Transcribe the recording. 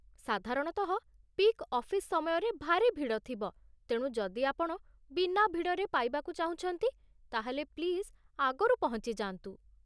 ସାଧାରଣତଃ peak office ସମୟରେ ଭାରି ଭିଡ଼ ଥିବ, ତେଣୁ ଯଦି ଆପଣ ବିନା ଭିଡ଼ରେ ପାଇବାକୁ ଚାହୁଁଛନ୍ତି ତା'ହେଲେ ପ୍ଲିଜ୍ ଆଗରୁ ପହଞ୍ଚି ଯାଆନ୍ତୁ ।